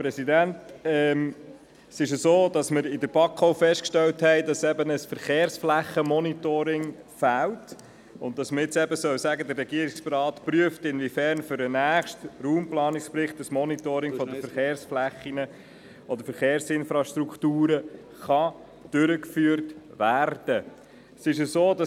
der BaK. Wir haben in der BaK festgestellt, dass ein Verkehrsflächenmonitoring fehlt, weshalb man nun sagen sollte, der Regierungsrat prüfe hinsichtlich des nächsten Raumplanungsberichts, ob ein Monitoring der Verkehrsflächen und Verkehrsinfrastrukturen durchgeführt werden könne.